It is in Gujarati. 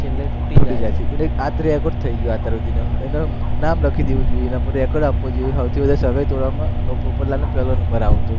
કે લે તૂટી જાય છે, આ તો record થઇ ગયો, અત્યાર સુધીનો એનું નામ લખી દેવું જોઈએ, એના પર એવોર્ડ આપવો જોઈએ સૌથી વધારે સગાઇ તોડવામાં પોપટલાલનો પેલો નંબર આવે